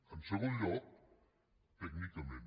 en segon lloc tècnicament